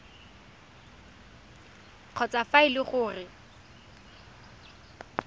kgotsa fa e le gore